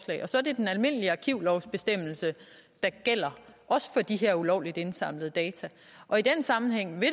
så er det den almindelige arkivlovs bestemmelse der gælder også for de her ulovligt indsamlede data i den sammenhæng vil